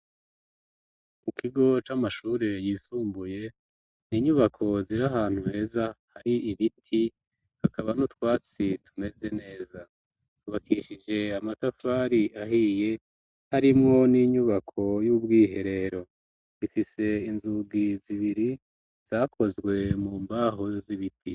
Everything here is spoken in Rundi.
Ku kigo c'amashuri yisumbuye n'inyubako ziri ahantu heza hari ibiti kakaba no twatsi tumeze neza tubakishije amatafari ahiye harimwo n'inyubako y'ubwiherero ifise inzugi zibiri zakozwe mu mbaho z'ibiti